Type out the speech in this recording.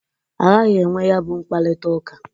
Aghagị enwe ya bụ mkparịtaụka.